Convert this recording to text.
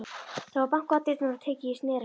Það var bankað á dyrnar og tekið í snerilinn.